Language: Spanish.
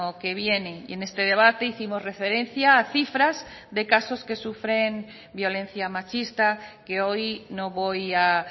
que viene y en este debate hicimos referencia a cifras de casos que sufren violencia machista que hoy no voy a